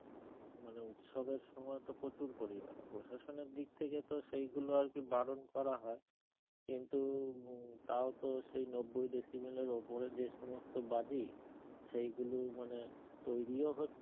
মানে উৎসবের সময় তো প্রচুর পরিমান প্রশাসনের দিক থেকে তো সেই গুলো আর কি বারন করা হয় কিন্তু তাও তো সেই নব্বই ডেসিমেলের উপরে যে সমস্থ বাজি সেই গুলো মানে তৈরিও হচ্ছে